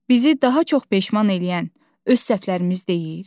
Bizi daha çox peşman eləyən öz səhvlərimiz deyil.